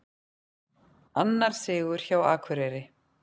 Annar sigur hjá Akureyri